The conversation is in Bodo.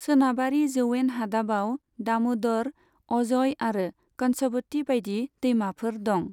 सोनाबारि जौयेन हादाबाव दामदर, अजय आरो कंसबती बायदि दैमाफोर दं।